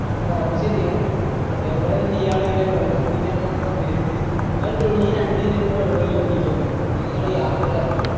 ആ അത് ശരിയാ അതെ പോലെ തന്നെ ഇയാൾ ഇങ്ങനെ വെള്ളം കുടിക്കാൻ പോണ സമയത്ത് ഇയാൾ daily രണ്ട് litre വെള്ളെല്ലും കുടിക്കായിരുന്നു അങ്ങനെ ഇയാൾ യാത്രയിറങ്ങി